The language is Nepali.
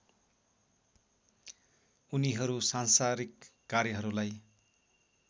उनीहरू सांसारिक कार्यहरूलाई